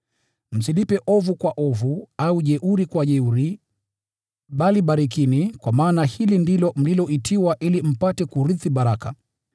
Msilipe ovu kwa ovu, au jeuri kwa jeuri, bali barikini, kwa maana hili ndilo mliloitiwa ili mpate kurithi baraka.